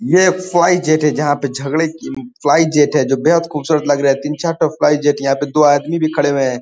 ये fly jet है। जहां पे झगड़े फ्लाई जेट है जो बेहद खुबसूरत लग रहे हैं तीन चार ठो फ्लाई जेट । यहां पे दो आदमी भी खड़े हुए हैं।